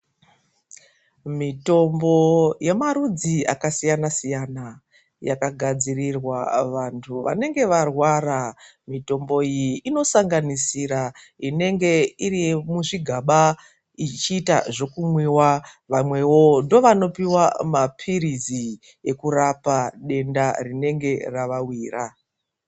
Mitombo yemarudzi akasiyana siyana yakagadziriwa vantu vanenge varwara. Mitombo iyi inosanganisira inenge iri yemuzvigaba ichiita zvokumwiwa. Vamwewo ndovanopiwa maphirizi ekurapa denda rinenge ravawira.